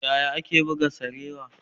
Yaya ake buga sarewa?